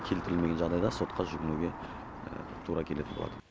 келтірілмеген жағдайда сотқа жүгінуге тура келетін болады